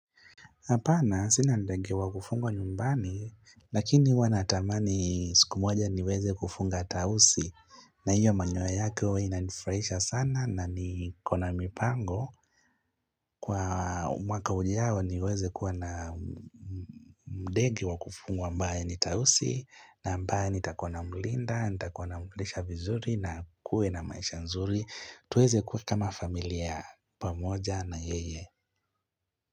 Hapana sina ndege wa kufungwa nyumbani, lakini huwa natamani sikumoja niweze kufunga tausi na iyo manyo yake huwa ina nifurahisha sana na niko na mipango. Kwa mwaka ujao niweze kuwa na ndege wa kufungwa ambae ni tausi na ambae ni takuwa namlinda, nitakuwa mlisha vizuri na kuwe na maisha nzuri. Tuweze kuwa kama familia pamoja na yeye.